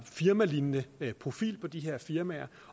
firmalignende profil på de her firmaer